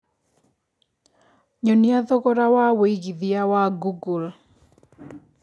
nyonia thogora wa wĩigĩthĩa wa google